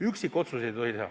Üksikotsuseid ei tohi teha.